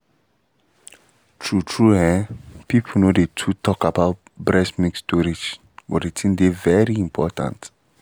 true-true ehm people no dey too talk um about breast milk storage but the thing dey very important